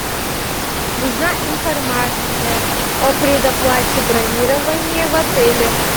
нужна информация о предоплате бронирования в отеле